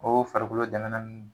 Oo farikolo dɛmɛnan nn